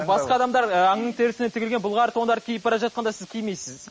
басқа адамдар ы аңның терісінен тігілген былғары тондар киіп бара жатқанда сіз кимейсіз